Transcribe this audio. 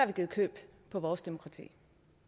vi givet køb på vores demokrati